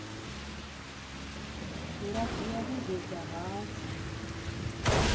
nga dzhia vhege dza rathi